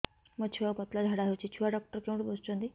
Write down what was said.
ମୋ ଛୁଆକୁ ପତଳା ଝାଡ଼ା ହେଉଛି ଛୁଆ ଡକ୍ଟର କେଉଁଠି ବସୁଛନ୍ତି